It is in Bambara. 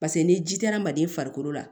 Paseke ni ji tɛ adamaden farikolo la